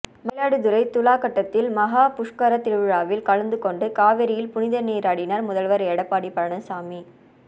மயிலாடுதுறை துலாக்கட்டத்தில் மஹா புஷ்கரத் திருவிழாவில் கலந்துகொண்டு காவிரியில் புனிதநீராடினார் முதல்வர் எடப்பாடி பழனிசாமி